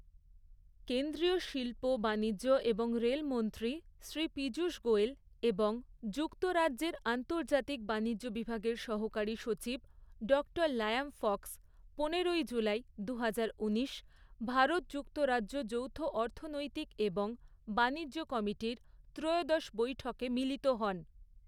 কেন্দ্রীয় শিল্প, বাণিজ্য এবং রেলমন্ত্রী শ্রী পীযূষ গোয়েল এবং যুক্তরাজ্যের আন্তর্জাতিক বাণিজ্য বিভাগের সহকারী সচিব ডক্টর লায়াম ফক্স, পনেরোই জুলাই, দুহাজার ঊনিশ, ভারত যুক্তরাজ্য যৌথ অর্থনৈতিক এবং বাণিজ্য কমিটির ত্রয়োদশ বৈঠকে মিলিত হন।